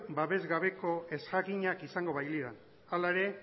babesgabeko ezjakinak izango bailiran hala ere